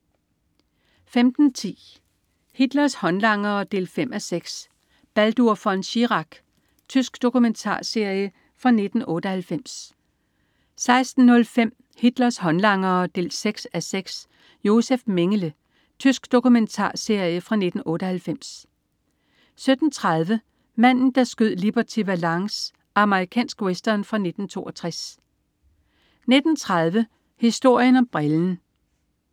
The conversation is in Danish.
15.10 Hitlers håndlangere 5:6. Baldur von Schirach. Tysk dokumentarserie fra 1998 16.05 Hitlers håndlangere 6:6. Josef Mengele. Tysk dokumentarserie fra 1998 17.30 Manden, der skød Liberty Valance. Amerikansk western fra 1962 19.30 Historien om brillen